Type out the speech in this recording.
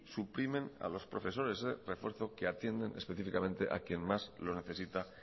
suprimen a los profesores de refuerzo que atienden específicamente a quien más lo necesita